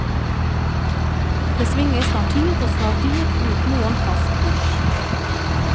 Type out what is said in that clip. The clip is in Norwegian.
Det svinger snart hit og snart dit, uten noen fast kurs.